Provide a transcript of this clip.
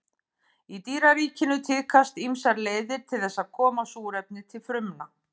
Í dýraríkinu tíðkast ýmsar leiðir til þess að koma súrefni til frumna.